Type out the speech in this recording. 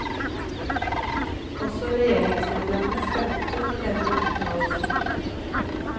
Også regjeringsmedlemmene stemte for denne uttalelsen.